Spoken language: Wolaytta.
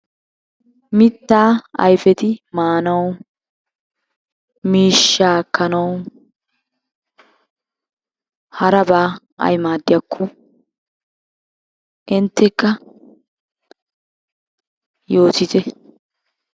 Mittaa ayifeti maanawu, miishshaa ekkanawu harabaa ay maaddiyakko inttekka yootite.